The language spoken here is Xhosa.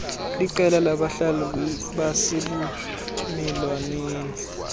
liqela labahlali basebumelwaneni